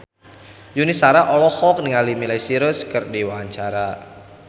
Yuni Shara olohok ningali Miley Cyrus keur diwawancara